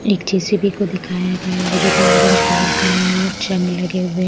एक जे_सी_बी को दिखाया गया हैं जो कि ऑरेंज कलर का है और जंग लगे हुए--